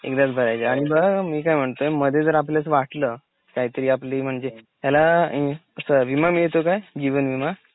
एकदाच भरायचे आणि बघ ह मी काय म्हयातोय मध्ये जर आपल्यास वाटलं काहीतरी आपली म्हणजे त्याला विमा मिळतो काय? जीवन विमा?